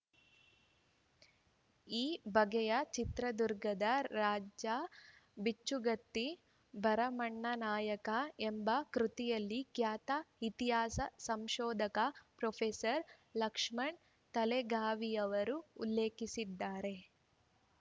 ಈ ಬಗ್ಗೆ ಚಿತ್ರದುರ್ಗದ ರಾಜಾ ಬಿಚ್ಚುಗತ್ತಿ ಭರಮಣ್ಣನಾಯಕ ಎಂಬ ಕೃತಿಯಲ್ಲಿ ಖ್ಯಾತ ಇತಿಹಾಸ ಸಂಶೋಧಕ ಪ್ರೊಫೆಸರ್ ಲಕ್ಷ್ಮಣ್‌ ತೆಲಗಾವಿಯವರು ಉಲ್ಲೇಖಿಸಿದ್ದಾರೆ